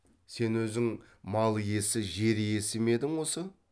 сен өзің мал иесі жер иесі ме едің осы